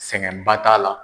Sɛgɛnba t'a la.